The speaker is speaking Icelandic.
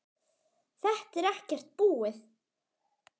Þetta er ekkert búið.